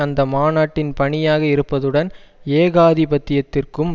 அந்த மாநாட்டின் பணியாக இருப்பதுடன் ஏகாதி பத்தியத்திற்கும்